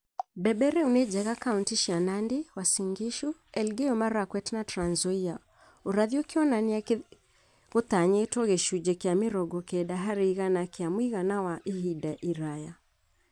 Mbembe rĩu nĩ njega kauntĩ cia Nandi, Uasin Gishu, Elgeyo Marakwet na Trans Nzoia urathi ũkĩonania gũtanyĩtwo gĩcunjĩ kĩa mĩrongo kenda harĩ igana kĩa mũigana wa ihinda iraya